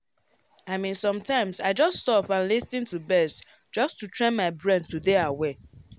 i mean sometimes i just stop and lis ten to birds just to train my brain to dey aware.